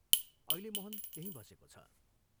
अहिले मोहन त्यहीं बसेको छ।